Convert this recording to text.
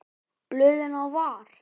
Blöðin á var.